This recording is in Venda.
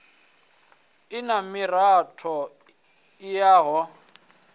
i na miratho i yaho